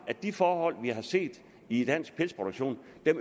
at de forhold vi har set i dansk pelsproduktion